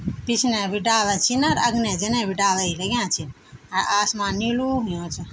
पिछने भी डाला छिन और अगने जाने भी डाला ही लग्याँ छिन अर आसमान नीलू होणु च।